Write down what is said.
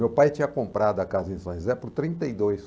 Meu pai tinha comprado a casa em São José por trinta e dois